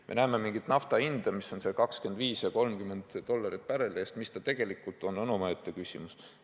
Me näeme mingit nafta hinda, mis on umbes 25 ja 30 dollarit barreli eest, aga mis see tegelikult on, on omaette küsimus.